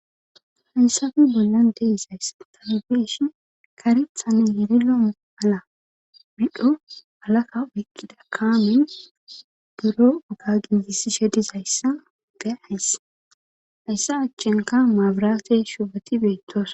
Hayssappe bollan de'izays tanubesh karithane yeri lo7om ala midho alakka oykkida kaamen buro oga gingisi she dizayssa be ayss hayssa achchinka maabiraate shubati beettoos.